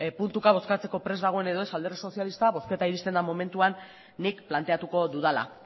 puntuka bozkatzeko prest dagoen edo ez alderdi sozialista bozketa iristen den momentuan nik planteatuko dudala